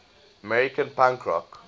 american punk rock